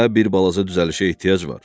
Ənbə bir balaca düzəlişə ehtiyac var.